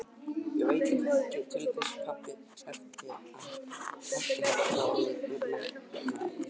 Ég veit ekki til þess að pabbi heitinn hafi haft neinn metnað í þá veru.